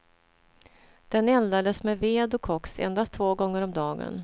Den eldades med ved och koks endast två gånger om dagen.